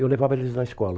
Eu levava eles na escola.